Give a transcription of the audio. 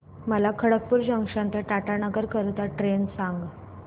मला खडगपुर जंक्शन ते टाटानगर करीता ट्रेन सांगा